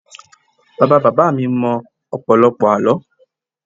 Bàbá bàbá mi mọ ọ̀pọ̀lọpọ̀ àlọ́